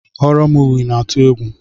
Horo moovi na atụ egwu.